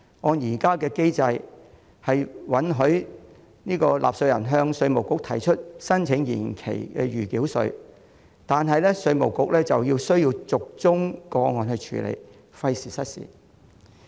按照現行機制，納稅人可向稅務局申請緩繳暫繳稅，但稅務局要逐宗個案處理，費時失事。